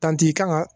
Dantɛ i kan ka